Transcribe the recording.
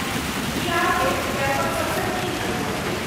ई अहाँकेँ कैम्पक सबसँ नीक अनुभव देत।